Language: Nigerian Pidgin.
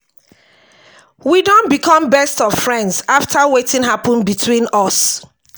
we don become best of friends after wetin happen between us